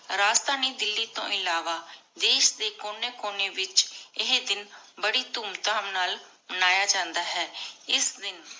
ਰਾਜਧਾਨੀ ਦਿੱਲੀ ਤੋ ਇਲਾਵਾ ਦੇਸ਼ ਦੇ ਕੋਨੀ ਕੋਨੀ ਵਿਚ ਏਹੀ ਦਿਨ ਬਾਰੀ ਧੂਮ ਧਾਮ ਨਾਲ ਮਾਨ੍ਯ ਜਾਂਦਾ ਹੈ ਇਸ ਦਿਨ